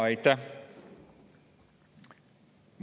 Aitäh!